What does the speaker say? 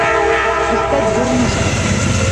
искать дурнушка